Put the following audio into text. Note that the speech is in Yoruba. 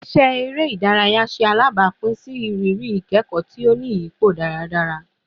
Awọn iṣẹ ere idaraya ṣe alabapin si iriri ikẹkọ ti o ni iyipo daradara